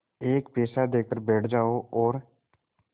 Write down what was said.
एक पैसा देकर बैठ जाओ और